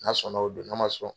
N'a sɔnna o don n'a ma sɔn